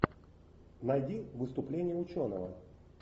найди выступление ученого